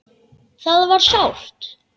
Það var sárt.